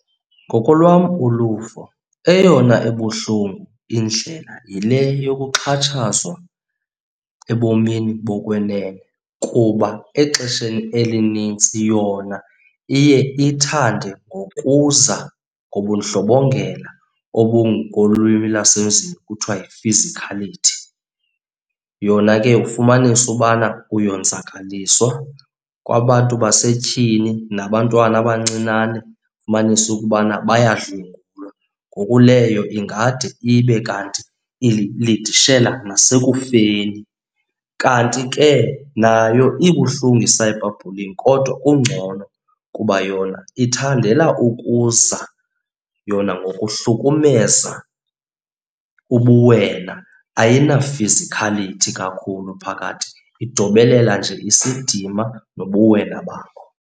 Ngokolwam uluvo eyona ebuhlungu indlela yile yokuxhatshazwa ebomini bokwenene kuba exesheni elinintsi yona iye ithande ngokuza ngobundlobongela obu ngokolwimi lwasemzini kuthiwa yifizikhalithi. Yona ke ufumanise ubana uyonzakaliswa, kwabantu basetyhini nabantwana abancinane ufumanise ukubana bayadlwengulwa. Ngoku leyo ingade ibe kanti ilidishele nasekufeni. Kanti ke nayo ibuhlungu i-cyber bullying kodwa kungcono kuba yona ithandela ukuza yona ngokuhlukumeza ubuwela ayinafizikhalithi kakhulu phakathi, idobelela nje isidima nobuwena bakho.